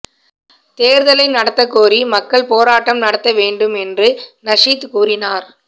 தேர்தலை நடத்தக்கோரி மக்கள் போராட்டம் நடத்த வேண்டும் என்று நஷீத் கூறினார்